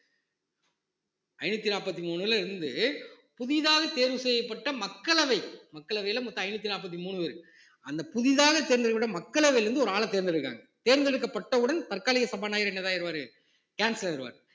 ஐந்நூத்தி நாற்பத்தி மூணு பேர்ல இருந்து புதிதாக தேர்வு செய்யப்பட்ட மக்களவை மக்களவையில மொத்தம் ஐந்நூத்தி நாற்பத்தி மூணு பேரு அந்த புதிதாக தேர்ந்தெடுக்கப்பட்ட மக்களவையிலிருந்து ஒரு ஆள தேர்ந்தெடுக்கிறாங்க தேர்ந்தெடுக்கப்பட்டவுடன் தற்காலிக சபாநாயகர் என்னதான் ஆயிருவாரு cancel ஆயிருவாரு